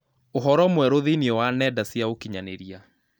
ũhoro mwerũ thĩinĩ wa nenda cia ũkĩnyaniria